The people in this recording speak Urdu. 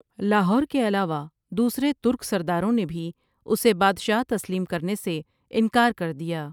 لاہور کے علاوہ دوسرے ترک سرداروں نے بھی اسے بادشاہ تسلیم کرنے سے انکار کر دیا ۔